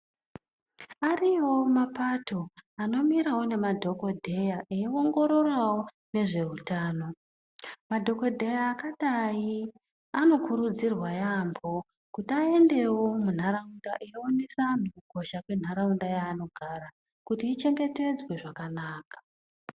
Ariyowo mapato anomirawo nemadhokodheya eiongororawo nezveutano, madhokodheya akadai anokurudzirwa yaambo kuti aendewo munharaunda eionesawo antu kukosha kwenharaunda yaanogara kuti ichengetedzwe zvakanaka.